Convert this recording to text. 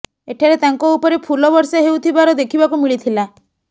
ଏଠାରେ ତାଙ୍କ ଉପରେ ଫୁଲ ବର୍ଷା ହେଉଥିବାର ଦେଖିବାକୁ ମିଳିଥିଲା